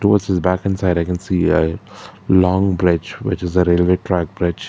what's it's backend side i can see a long bridge which is the railway track bridge.